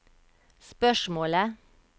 spørsmålet